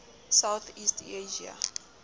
south east asia